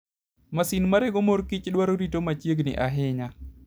Masin marego mor kich dwaro rito machiegni ahinya.